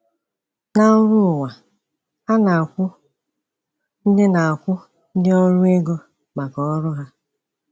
Na ọrụ ụwa, a na-akwụ ndị na-akwụ ndị ọrụ ego maka ọrụ ha.